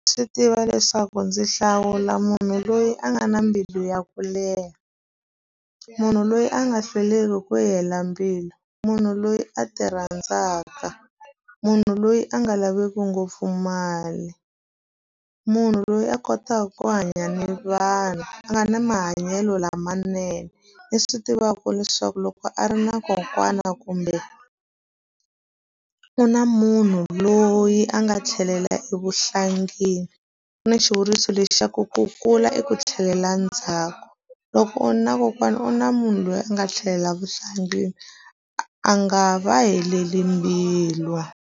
Swi tiva leswaku ndzi hlawula munhu loyi a nga na mbilu ya ku leha, munhu loyi a nga hlweliki ku yi hela mbilu, munhu loyi a ti rhandzaka, munhu loyi a nga laveku ngopfu mali, munhu loyi a kotaka ku hanya ni vanhu, a nga na mahanyelo lamanene. Ni swi tivaka leswaku loko a ri na kokwana kumbe u na munhu loyi a nga tlhelela evuhlangeni. Ku na xivuriso lexi xa ku ku kula i ku tlhelela ndzhaku. Loko u ri na kokwana u na munhu loyi a nga tlhelela vuhlangi, a nga va heleli mbilu.